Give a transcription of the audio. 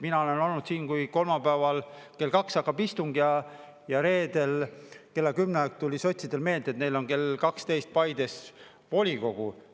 Mina olen olnud siin, kui kolmapäeval kell 14 hakkas istung ja reedel kella 10 ajal tuli sotsidel meelde, et neil on kell 12 Paides volikogu.